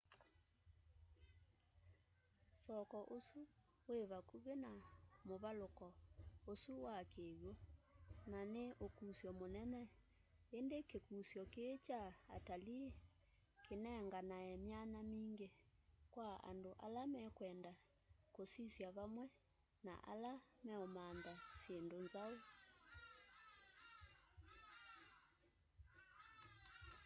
soko usu wi vakuvi na muvaluko usu wa kiw'u na ni ukusyo munene indi kikusyo kii kya atalii kinenganae myanya mingi kwa andu ala mekwenda kusisya vamwe na ala meumantha syindu nzau